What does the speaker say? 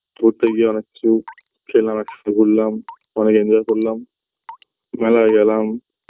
ঘুরতে গিয়ে অনেক কিছু খেলাম একসঙ্গে ঘুরলাম অনেক enjoy করলাম মেলায় গেলাম